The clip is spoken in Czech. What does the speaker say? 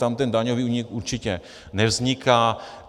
Tam ten daňový únik určitě nevzniká.